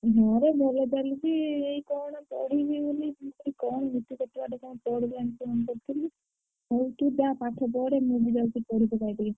ହଁ ରେ ଭଲ ଚାଲିଚି। ଏଇ କଣ ପଢିବି ବୋଲି କଣ ଶୁଚି କେତେବାଟ କଣ ପଢିଲାଣି phone କରିଥିଲି। ହଉ ତୁ ଯା ପାଠ ପଢେ ହେ ମୁଁ ବି ଯାଉଚି ପାଇ ଟିକେ।